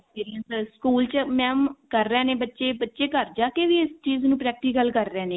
ਜਿਹੜੀਆਂ ਸਕੂਲ ਚ mam ਕਰ ਰਹੇ ਨੇ ਬੱਚੇ ਬੱਚੇ ਘਰ ਜਾ ਕੇ ਵੀ ਇਸ ਚੀਜ਼ ਨੂੰ practical ਕਰ ਰਹੇ ਨੇ